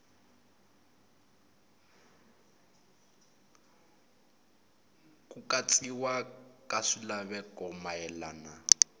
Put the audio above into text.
ku katsiwa ka swilaveko mayelana